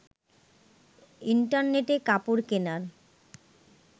ইন্টারনেটে কাপড় কেনার